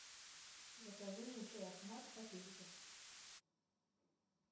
закажи мне чай ахмад в пакетиках